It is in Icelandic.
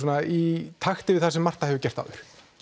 í takti við það sem Marta hefur gert áður